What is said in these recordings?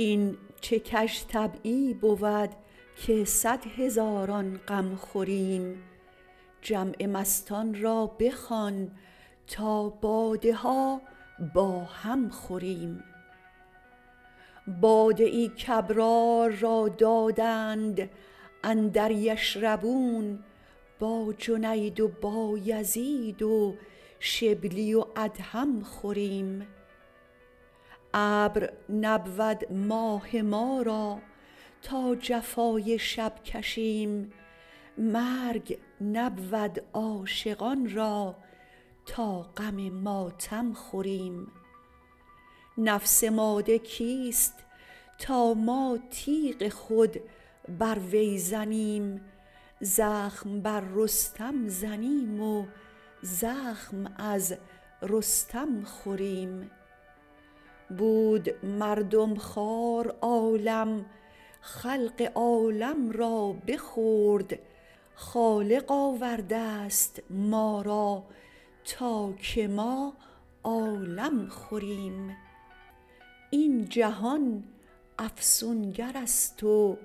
این چه کژطبعی بود که صد هزاران غم خوریم جمع مستان را بخوان تا باده ها با هم خوریم باده ای کابرار را دادند اندر یشربون با جنید و بایزید و شبلی و ادهم خوریم ابر نبود ماه ما را تا جفای شب کشیم مرگ نبود عاشقان را تا غم ماتم خوریم نفس ماده کیست تا ما تیغ خود بر وی زنیم زخم بر رستم زنیم و زخم از رستم خوریم بود مردم خوار عالم خلق عالم را بخورد خالق آورده ست ما را تا که ما عالم خوریم این جهان افسونگرست و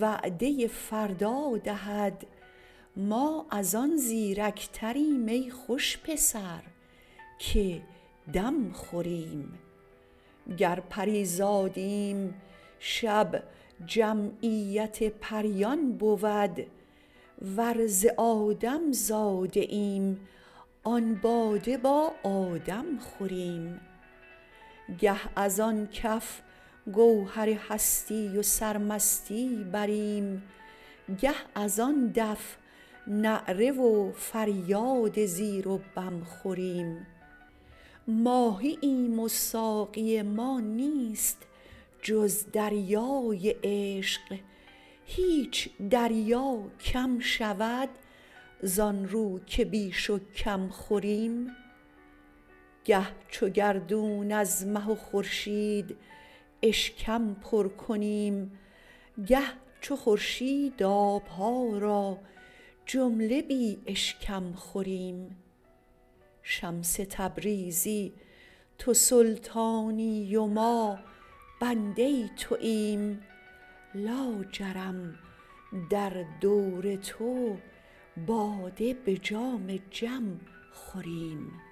وعده فردا دهد ما از آن زیرکتریم ای خوش پسر که دم خوریم گر پری زادیم شب جمعیت پریان بود ور ز آدم زاده ایم آن باده با آدم خوریم گه از آن کف گوهر هستی و سرمستی بریم گه از آن دف نعره و فریاد زیر و بم خوریم ماهییم و ساقی ما نیست جز دریای عشق هیچ دریا کم شود زان رو که بیش و کم خوریم گه چو گردون از مه و خورشید اشکم پر کنیم گر چو خورشید آب ها را جمله بی اشکم خوریم شمس تبریزی تو سلطانی و ما بنده توییم لاجرم در دور تو باده به جام جم خوریم